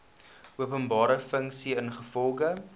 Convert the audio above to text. openbare funksie ingevolge